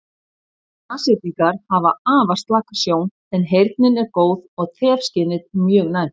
Nashyrningar hafa afar slaka sjón en heyrnin er góð og þefskynið mjög næmt.